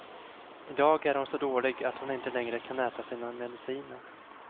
I dag är hon så dålig att hon inte längre kan äta sina mediciner.